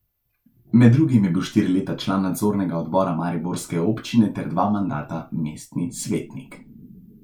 Med drugim je bil štiri leta član nadzornega odbora mariborske občine ter dva mandata mestni svetnik.